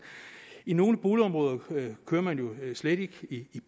i nogle boligområder kører man jo slet ikke i